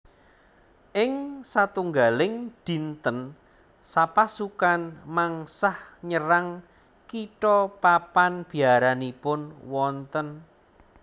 Ing satunggaling dinten sapasukan mengsah nyerang kitha papan biaranipun wonten